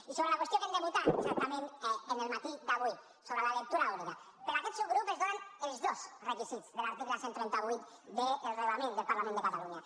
i sobre la qüestió que hem de votar exactament en el matí d’avui sobre la lectura única per aquest subgrup es donen els dos requisits de l’article cent i trenta vuit del reglament del parlament de catalunya